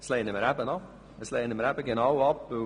Diesen Antrag lehnen wir eben ab.